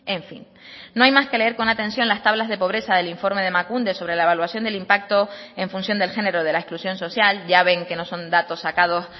en fin no hay más que leer con atención las tablas de pobreza del informe de emakunde sobre la evaluación del impacto en función del género de la exclusión social ya ven que no son datos sacados